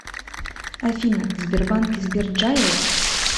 афина в сбербанке сберджайл